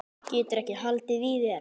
Geturðu ekki haldið í þér?